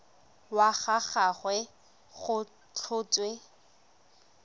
wa ga gagwe go tlhotswe